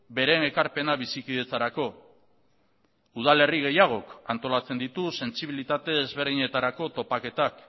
beren ekarpena bizikidetzarako udalerri gehiagok antolatzen ditu sentsibilitate ezberdinetarako topaketak